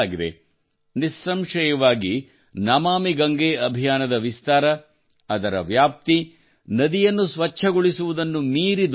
ನಿಸ್ಸಂಶಯವಾಗಿ ನಮಾಮಿ ಗಂಗೆ ಅಭಿಯಾನದ ವಿಸ್ತಾರ ಅದರ ವ್ಯಾಪ್ತಿ ನದಿಯನ್ನು ಸ್ವಚ್ಛಗೊಳಿಸುವುದನ್ನು ಮೀರಿ ದೊಡ್ಡದಾಗಿದೆ